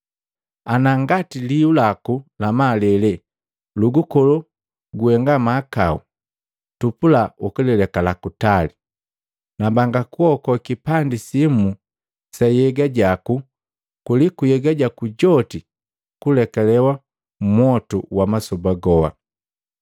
Ana ngati liu laku la malele lugukolo kuhenga mahakau, tupula ukalekala kutali. Nambanga kuhoa kipandi simu sa nhyega jaku, kuliku nhyega jaku joti kuleke mmwotu wa masoba goa.